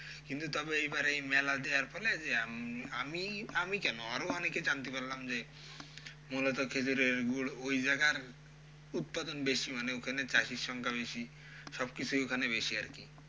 কিন্তু তবে এইবারে এই মেলা দেওয়ার ফলে যে আমি আমি কেন আরও অনেকে জানতে পারলাম যে মূলত খেঁজুরের গুড় ওই জায়গার উৎপাদন বেশি মানে ওখানে চাষীর সংখ্যা বেশি, সবকিছুই ওখানে বেশি আরকি।